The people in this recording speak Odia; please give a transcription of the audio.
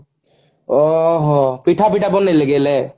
ଓ ହୋ ପିଠା ଫିଠା ବନେଇଲେ କି ହେଲେ